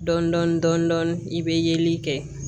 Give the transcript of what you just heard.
Dɔɔnin dɔɔnin dɔɔnin i bɛ yeli kɛ